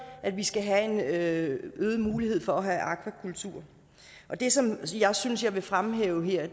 at vi skal have en øget mulighed for at have akvakultur og det som jeg synes jeg vil fremhæve her